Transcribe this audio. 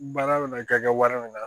Baara bɛna kɛ wari minna la